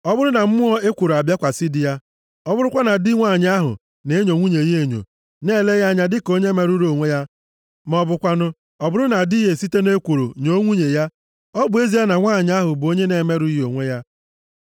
ọ bụrụ na mmụọ ekworo abịakwasị di ya, ọ bụrụkwa na di nwanyị ahụ na-enyo nwunye ya enyo, na-ele ya anya dịka onye merụrụ onwe ya, ma ọ bụkwanụ, ọ bụrụ na di ya esite nʼekworo nyoo nwunye ya, ọ bụ ezie na nwanyị ahụ bụ onye na-emerụghị onwe ya,